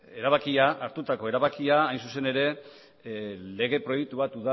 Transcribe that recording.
erabakia hartutako erabakia hain zuzen ere lege proiektu bat